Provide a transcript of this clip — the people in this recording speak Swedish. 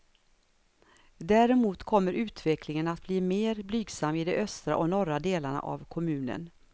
Däremot kommer utvecklingen att bli mer blygsam i de östra och norra delarna av kommunen.